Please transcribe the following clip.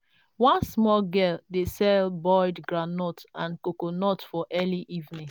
one small girl dey sell boiled groundnut and coconut for early evening.